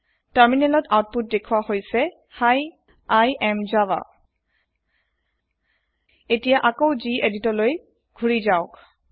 তাৰমিনেলত অউতপুত দেখুৱা হৈছে হি I এএম জাভা এতিয়া আকৈ গেদিত লৈ ঘুৰি যাও